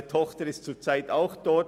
Meine Tochter ist zurzeit auch dort.